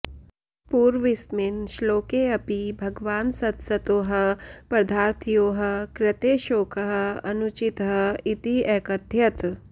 पूर्वस्मिन् श्लोकेऽपि भगवान् सदसतोः पदार्थयोः कृते शोकः अनुचितः इति अकथयत्